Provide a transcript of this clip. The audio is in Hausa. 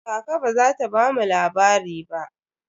Kaka ba za ta bamu labari ba.